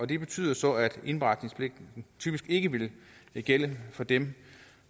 det betyder så at indberetningspligten typisk ikke ville gælde for dem